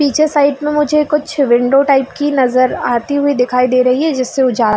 पीछे साइड में मुझे कुछ विंडो टाइप की नजर आती हुई दिखाई दे रही है जिसे ऊजा--